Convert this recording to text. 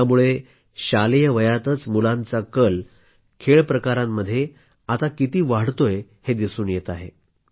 यामुळे शालेय वयातच मुलांचा कल आता खेळ प्रकारांमध्ये किती वाढतोय हे दिसून येत आहे